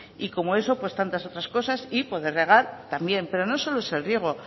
y como eso tantas otras cosas y poder regar también pero no solo es el riego